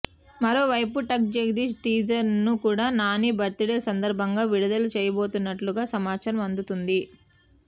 మరో వైపు టక్ జగదీష్ టీజర్ ను కూడా నాని బర్త్ డే సందర్బంగా విడుదల చేయబోతున్నట్లుగా సమాచారం అందుతోంది